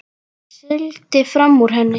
Sigldi fram úr henni.